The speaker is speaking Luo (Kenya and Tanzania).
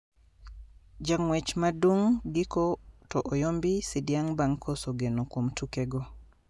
Ja ngwech madung giko to oyombi sidiang bang koso geno kuom tuke go